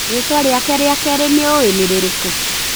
Rĩtwa rĩake rĩa kerĩ nũĩ ririku?